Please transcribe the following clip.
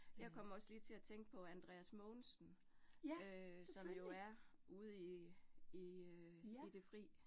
Jeg kom også lige til at tænke på Andreas Mogensen øh som jo er ude i i øh i det fri